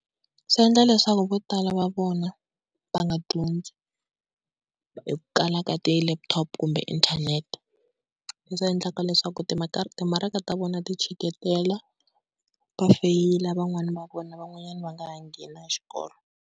Swi endla leswaku vo tala va vona va nga dyondzi, hi ku kala ka ti-laptop kumbe inthanete. Leswi endlaka leswaku timakara timaraka ta vona ti chiketela va feyila van'wani va vona van'wanyana va nga ha ngheni na xikolo.